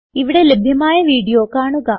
ഇവിടെ ലഭ്യമായ വീഡിയോ കാണുക